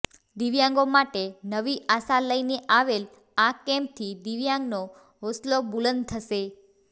દિવ્યાંગો માટે નવી આશા લઈને આવેલ આ કેમ્પથી દિવ્યાંગનો હોસલો બુલંદ થશે